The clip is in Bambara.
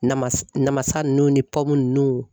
Nama namasa nunnu ni nunnu